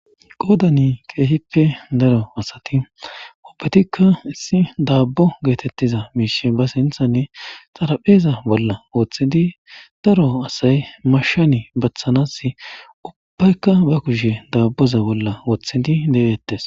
qoodani keehippe daro asati ubbetikka issi daabbo geetettiza miishe ba sinthanne xarapheeza bolla woththidi daro asay mashshani bathanas ubbaykka ba kushe daabboza bolla woththidi deettes